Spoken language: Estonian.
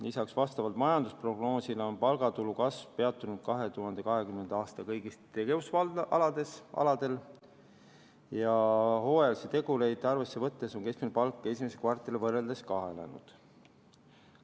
Lisaks on vastavalt majandusprognoosile palgatulu kasv peatunud 2020. aastal kõigil tegevusaladel ja hooajalisi tegureid arvesse võttes on keskmine palk esimese kvartaliga võrreldes kahanenud.